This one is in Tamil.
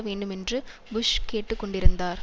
வேண்டுமென்று புஷ் கேட்டு கொண்டிருந்தார்